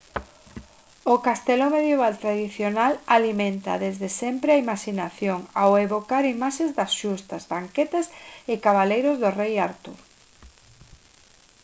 o castelo medieval tradicional alimenta desde sempre a imaxinación ao evocar imaxes de xustas banquetes e cabaleiros do rei artur